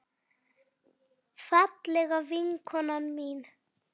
Fallega vinkona mín.